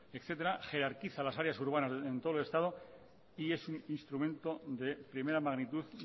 etcétera jerarquiza las áreas urbanas en todo el estado y es un instrumento de primera magnitud